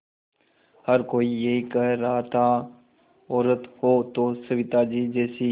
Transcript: हर कोई यही कह रहा था औरत हो तो सविताजी जैसी